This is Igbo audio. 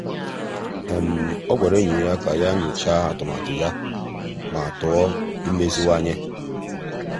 ọ́ gwàrà ényì ya kà yá nyòcháá atụmatụ ya ma tụ́ọ́ imeziwanye.